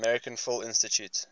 american film institute